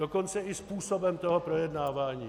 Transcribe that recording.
Dokonce i způsobem toho projednávání.